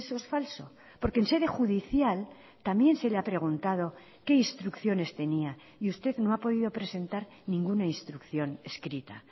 es falso porque en sede judicial también se le ha preguntado qué instrucciones tenía y usted no ha podido presentar ninguna instrucción escrita